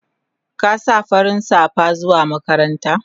Kin sa farin safa zuwa makaranta?